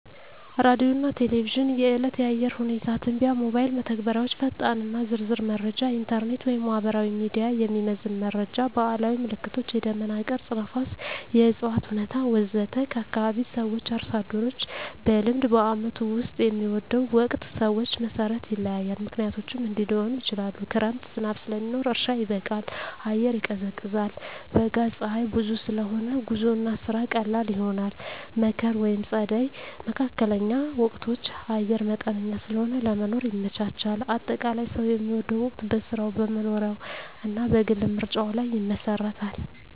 ሬዲዮና ቴሌቪዥን – የዕለት የአየር ሁኔታ ትንበያ ሞባይል መተግበሪያዎች ፈጣንና ዝርዝር መረጃ ኢንተርኔት/ማህበራዊ ሚዲያ – የሚዘመን መረጃ ባህላዊ ምልክቶች – የደመና ቅርጽ፣ ነፋስ፣ የእፅዋት ሁኔታ ወዘተ ከአካባቢ ሰዎች/አርሶ አደሮች – በልምድ በዓመቱ ውስጥ የሚወደው ወቅት ሰዎች መሠረት ይለያያል፣ ምክንያቶቹም እንዲህ ሊሆኑ ይችላሉ፦ ክረምት – ዝናብ ስለሚኖር እርሻ ይበቃል፣ አየር ይቀዝቃዛል። በጋ – ፀሐይ ብዙ ስለሆነ ጉዞና ስራ ቀላል ይሆናል። መከር/ጸደይ (መካከለኛ ወቅቶች) – አየር መጠነኛ ስለሆነ ለመኖር ይመቻቻል። አጠቃላይ፣ ሰው የሚወደው ወቅት በሥራው፣ በመኖሪያው እና በግል ምርጫው ላይ ይመሰረታል።